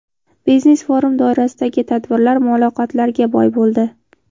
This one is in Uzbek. Biznes forum doirasidagi tadbirlar muloqotlarga boy bo‘ldi.